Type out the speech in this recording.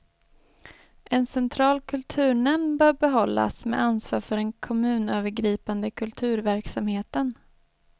En central kulturnämnd bör behållas med ansvar för den kommunövergripande kulturverksamheten.